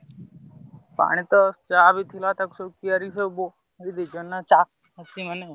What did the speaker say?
ପାଣି ତ ଯାହା ବି ଥିଲାଳ ତାକୁ କିଆରି କି ସବୁ ଭୋଇ ଦେଇଛନ୍ତି ନାଁ ଚାଷୀ ମାନେ।